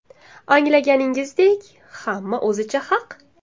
Anglaganingizdek, hamma o‘zicha haq.